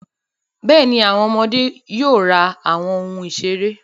Bẹ́ẹ̀ni, àwọn ọmọdé yóò ra àwọn ohun ìṣeré.